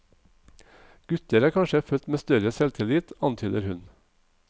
Gutter er kanskje født med større selvtillit, antyder hun.